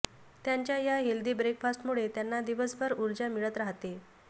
त्यांच्या या हेल्दी ब्रेकफास्टमुळे त्यांना दिवसभर ऊर्जा मिळत राहते